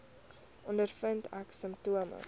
ondervind ek simptome